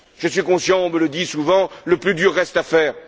Je suis conscient, on me le dit souvent, que le plus dur reste